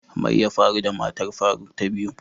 mai yabfaru da matar faruk ta biyu?